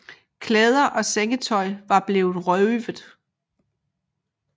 Klæder og sengetøj var blevet røvet